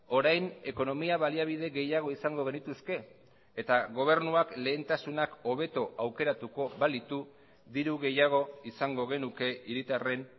orain ekonomia baliabide gehiago izango genituzke eta gobernuak lehentasunak hobeto aukeratuko balitu diru gehiago izango genuke hiritarren